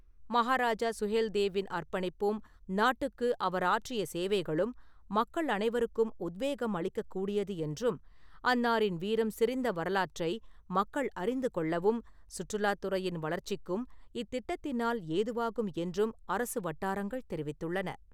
மகாராஜா சுஹேல்தேவ்-இன் அர்ப்பணிப்பும் நாட்டுக்கு அவர் ஆற்றிய சேவைகளும் மக்கள் அனைவருக்கும் உத்வேகம் அளிக்கக்கூடியது என்றும், அன்னாரின் வீரம் செறிந்த வரலாற்றை மக்கள் அறிந்து கொள்ளவும், சுற்றுலாத் துறையின் வளர்ச்சிக்கும் இத்திட்டத்தினால் ஏதுவாகும் என்றும் அரசு வட்டாரங்கள் தெரிவித்துள்ளன.